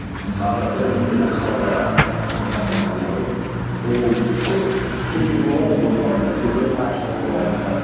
мысалы бірінде мысалға ыыы мұхаммед али ау деймін ол көп сөйлейтін болған ғой бойдың алдында кейбіреулер деп айтып жатады